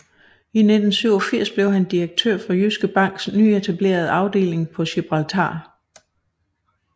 I 1987 blev han direktør for Jyske Banks nyetablerede afdeling på Gibraltar